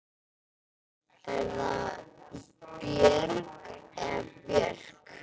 Er það Björg eða Björk?